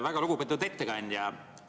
Väga lugupeetud ettekandja!